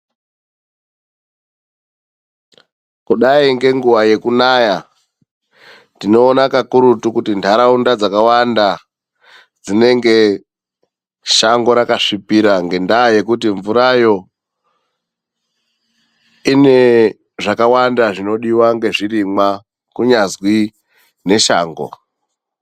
Kudai ngenguwa yekunaya, tinoona kakurutu kuti ntaraunda dzakawanda, dzinenge shango rakasvipira, ngendaa yekuti mvurayo ine zvakawanda zvinodiwa ngezvirimwa, kunyazwi neshango.